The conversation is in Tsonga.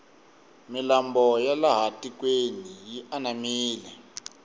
milambo ya laha tikweni yi anamile